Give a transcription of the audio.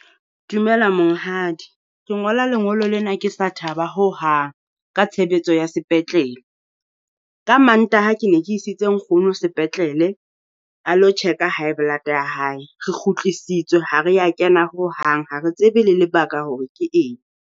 Dumela monghadi, ke ngola lengolo lena ke sa thaba hohang ka tshebetso ya sepetlele. Ka Mantaha ke ne ke isitse nkgono sepetlele a lo check-a high blood ya hae, re kgutlisitswe ha re ya kena ho hang ha re tsebe le lebaka hore ke eng.